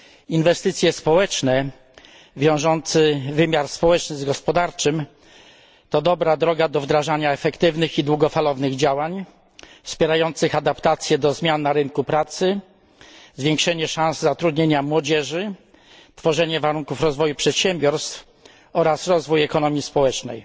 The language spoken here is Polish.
Inwestycje społeczne wiążące wymiar społeczny z gospodarczym to dobra droga do wdrażania efektywnych i długofalowych działań, wspierających adaptacje do zmian na rynku pracy, zwiększenie szans zatrudnienia młodzieży, tworzenie warunków rozwoju przedsiębiorstw oraz rozwój ekonomii społecznej.